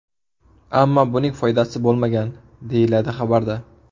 Ammo buning foydasi bo‘lmagan”, deyiladi xabarda.